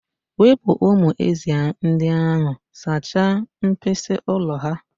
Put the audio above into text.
Wepụ umu ezị́ ndị ahụ sachaa mkpịsị ụlọ ha!.